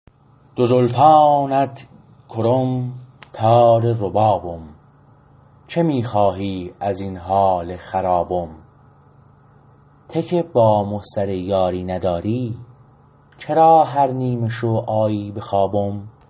دو زلفانت کرم تار ربابم چه می خواهی ازین حال خرابم ته که با مو سر یاری نداری چرا هر نیمه شو آیی به خوابم